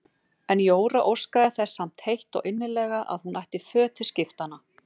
En Jóra óskaði þess samt heitt og innilega að hún ætti föt til skiptanna.